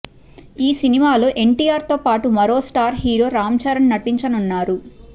ఈ సినిమాలో ఎన్టీఆర్ తో పాటు మరో స్టార్ హీరో రామ్ చరణ్ నటించనున్నారు